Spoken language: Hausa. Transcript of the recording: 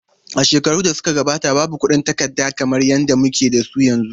A shekarun da suka gabata, babu kuɗin takarda kamar yadda muke da su yanzu.